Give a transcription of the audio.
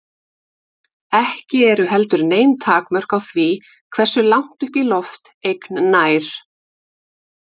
Ekki eru heldur nein takmörk á því hversu langt upp í loft eign nær.